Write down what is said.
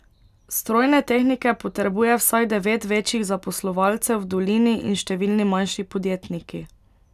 Strojne tehnike potrebuje vsaj devet večjih zaposlovalcev v dolini in številni manjši podjetniki.